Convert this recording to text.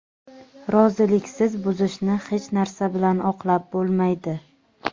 roziliksiz buzishni hech narsa bilan oqlab bo‘lmaydi.